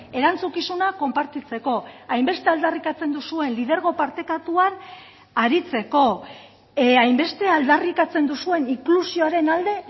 erantzukizuna konpartitzeko hainbeste aldarrikatzen duzuen lidergo partekatuan aritzeko hainbeste aldarrikatzen duzuen inklusioaren alde